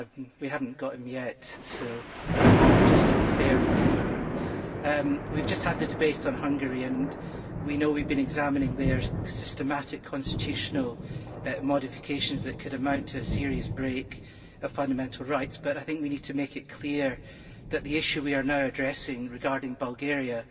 We have not got him yet, just to be fair for a moment! We have just had the debate on Hungary and we know we have been examining their systematic constitutional modifications, which could amount to a serious breach of fundamental rights, but I think we have to make it clear that the issue that we are now addressing, regarding Bulgaria,